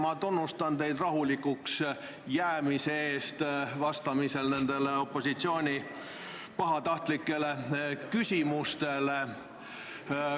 Ma tunnustan teid rahulikuks jäämise eest vastamisel nendele opositsiooni pahatahtlikele küsimustele.